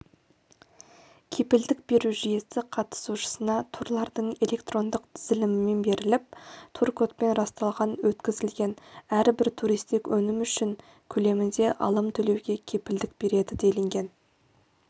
іепілдік беру жүйесі қатысушысына турлардың электрондық тізілімімен беріліп тур-кодпен расталған өткізілген әрбір туристік өнім үшін көлемінде алым төлеуге кепілдік береді делінген